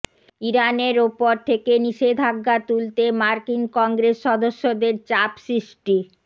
ইরানের ওপর থেকে নিষেধাজ্ঞা তুলতে মার্কিন কংগ্রেস সদস্যদের চাপ সৃষ্টি